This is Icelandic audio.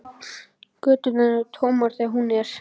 Göturnar eru tómar þegar hún er.